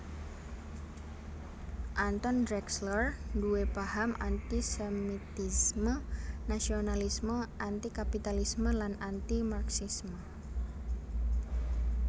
Anton Drexler nduwé paham anti sémitisme nasionalisme anti kapitalisme lan anti Marxisme